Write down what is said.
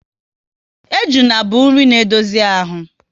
Ejuna bụ nri na edozi ahụ